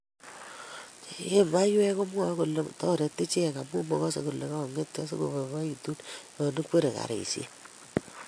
che we maywekkomwae kole toreti ichek amu magasee kole kongetyo asigoboiboitu yo ikwerie karishek